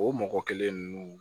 O mɔgɔ kelen ninnu